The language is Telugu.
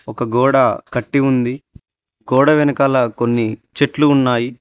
ఒక గోడ కట్టి ఉంది గోడ వెనకాల కొన్ని చెట్లు ఉన్నాయి.